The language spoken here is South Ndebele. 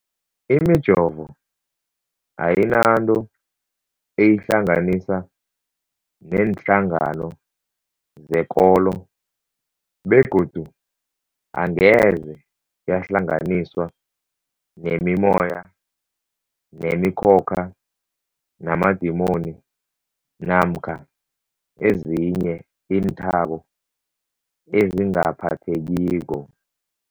Imijovo ayinanto eyihlanganisa neenhlangano zekolo begodu angeze yahlanganiswa nemimoya, nemi khokha, namadimoni namkha ezinye iinthako ezingaphathekiko.